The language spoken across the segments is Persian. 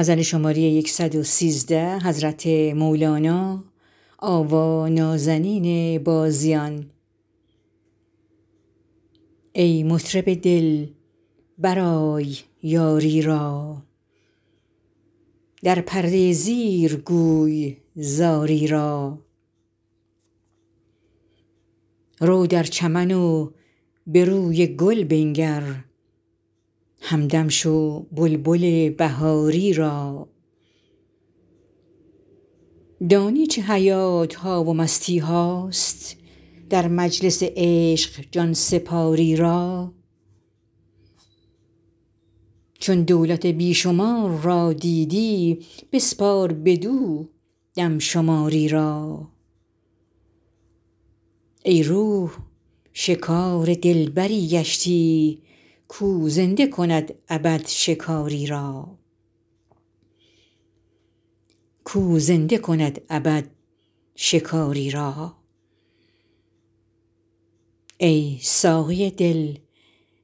ای مطرب دل برای یاری را در پرده زیر گوی زاری را رو در چمن و به روی گل بنگر همدم شو بلبل بهاری را دانی چه حیات ها و مستی هاست در مجلس عشق جان سپاری را چون دولت بی شمار را دیدی بسپار بدو دم شماری را ای روح شکار دلبری گشتی کاو زنده کند ابد شکاری را ای ساقی دل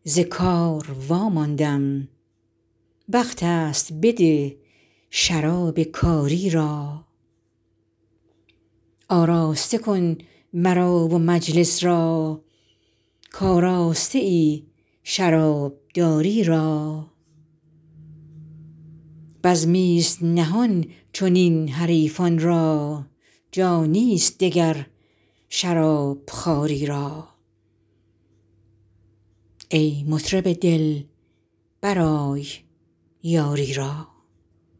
ز کار واماندم وقت است بده شراب کاری را آراسته کن مرا و مجلس را کآراسته ای شرابداری را بزمی ست نهان چنین حریفان را جانی ست دگر شراب خواری را